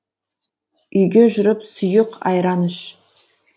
үйге жүріп сұйық айран іш